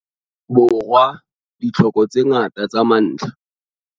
Borwa ditlhoko tse ngata tsa mantlha.